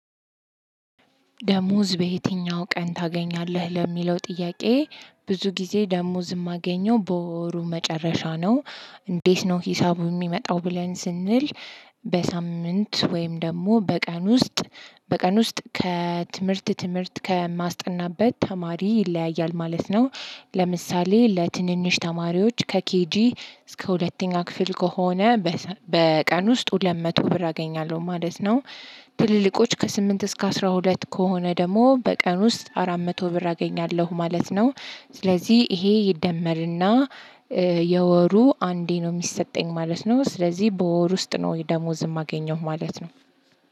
ደሞዝ በየትኛው ቀን ታገኛለህ ለሚለው ጥያቄ ብዙ ጊዜ ደሞዝ የማገኘው በወሩ መጨረሻ ነው። እንዴት ነው ሂሳቡ የሚመጣው ብለን ስንል? በሳምንት ወይም ደግሞ በቀን ውስጥ በቀን ውስጥ ከትምህርት ትምህርት ከማስጠናበት ተማሪ ይለያያል ማለት ነው። ለምሳሌ ለትንንሽ ተማሪዎች ከኬጂ እስከ ሁለተኛ ክፍል ከሆነ። በቀን ውስጥ ሁለት መቶ ብር አገኛለሁ ማለት ነው። ትልልቆች ከስምንት እስከ አስራ ሁለት ከሆነ ደግሞ በቀን ውስጥ አራት መቶ ብር አገኛለሁ ማለት ነው። ስለዚህ ይሄ ይደመርና የወሩ አንዴ ነው የሚሰጠኝ ማለት ነው ስለዚህ በወር ውስጥ ነው ደሞዝ የማገኘው ማለት ነው።